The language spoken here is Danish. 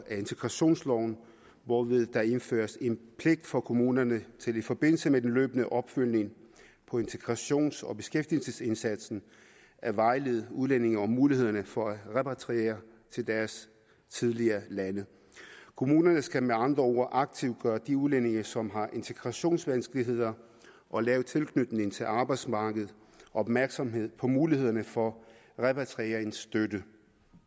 integrationsloven hvorved der indføres en pligt for kommunerne til i forbindelse med den løbende opfølgning på integrations og beskæftigelsesindsatsen at vejlede udlændinge om mulighederne for at repatriere til deres tidligere lande kommunerne skal med andre ord aktivt gøre de udlændinge som har integrationsvanskeligheder og lav tilknytning til arbejdsmarkedet opmærksom på mulighederne for repatrieringsstøtte